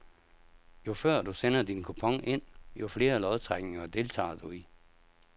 Jo før du sender din kupon ind, jo flere lodtrækninger deltager du i.